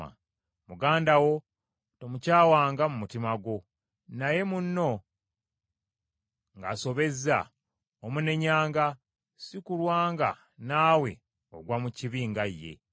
“Muganda wo tomukyawanga mu mutima gwo. Naye munno ng’asobezza, omunenyanga, si kulwa nga naawe ogwa mu kibi nga ye.